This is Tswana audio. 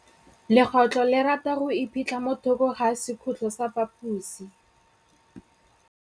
Legôtlô le rata go iphitlha mo thokô ga sekhutlo sa phaposi.